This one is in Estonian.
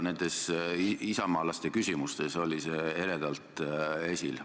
Nendes isamaalaste esitatud küsimustes oli see eredalt esil.